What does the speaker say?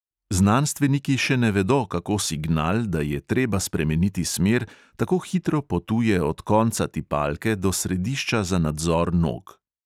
Znanstveniki še ne vedo, kako signal, da je treba spremeniti smer, tako hitro potuje od konca tipalke do središča za nadzor nog.